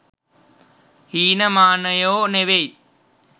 හීන මානයො නෙවෙයි.